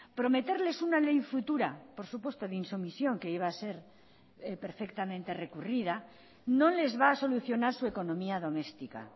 prometerles una ley futura por supuesto de insumisión que iba a ser perfectamente recurrida no les va a solucionar su economía doméstica